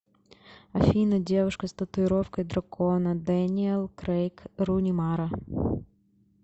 афина девушка с татуировкой дракона дэниел крейг руни мара